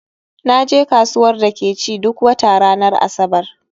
Naje kasuwar da ke ci duk wata ranar Asabar